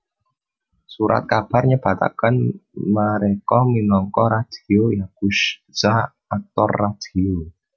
Surat kabar nyebataken mereka minangka radio yakusha aktor radio